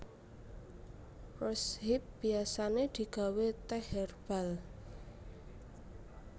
Rose hip biasané digawé tèh hèrbal